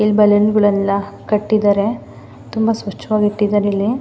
ಇಲ್ಲಿ ಬಲೂನ್ ಗಳೆಲ್ಲ ಕಟ್ಟಿದ್ದಾರೆ ತುಂಬ ಸ್ವಚ್ಛವಾಗಿ ಇಟ್ಟಿದ್ದಾರೆ ಇಲ್ಲಿ.